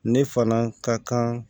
Ne fana ka kan